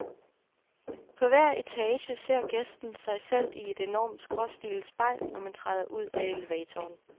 På hver etage ser gæsten sig selv i et enormt skråtstillet spejl, når man træder ud af elevatoren.